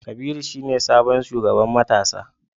Kabiru shine sabon shugaban matasa